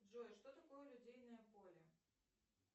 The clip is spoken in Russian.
джой что такое лодейное поле